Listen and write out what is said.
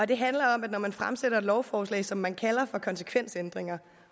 det handler om at når man fremsætter et lovforslag som man kalder for konsekvensændringer